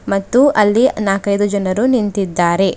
ಮತ್ತು ಅಲ್ಲಿ ನಾಕ್ಕೈದು ಜನರು ನಿಂತಿದ್ದಾರೆ.